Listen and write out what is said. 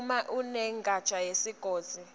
uma imenenja yesigodzi